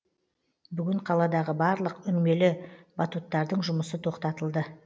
бүгін қаладағы барлық үрмелі батуттардың жұмысы тоқтатылды